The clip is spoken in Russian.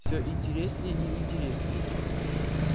всё интереснее и интереснее